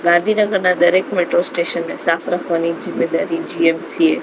ગાંધીનગરના દરેક metro station ને સાફ રાખવાની જીમ્મેદારી જી_એમ_સી એ--